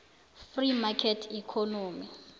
free market economy